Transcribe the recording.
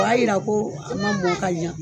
O y'a yira ko a man mɔn ka ɲa.